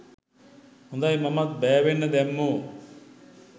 හොදයි මමත් බෑවෙන්න දැම්මෝ